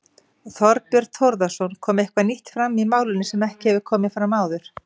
Þorbjörn Þórðarson: Kom eitthvað nýtt fram í málinu sem ekki hefur komið fram áður?